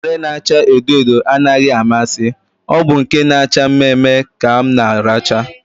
Unere na acha edo edo anaghị amasị, ọ bụ nke na acha mme mme ka m na aracha